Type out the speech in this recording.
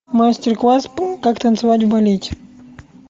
мастер класс как танцевать в балете